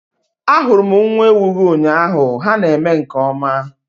Ahurum nwa-ewu-gi ụnyaahụ ha na-eme nke ọma